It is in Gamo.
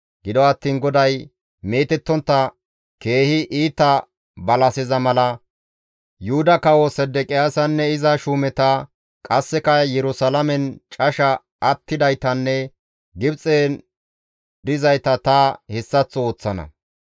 « ‹Gido attiin GODAY, meetettontta keehi iita balaseza mala Yuhuda Kawo Sedeqiyaasanne iza shuumeta, qasseka Yerusalaamen casha attidaytanne Gibxen dizayta ta hessaththo ooththana.